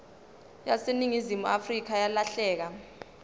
yaseningizimu afrika yalahleka